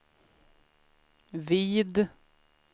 vid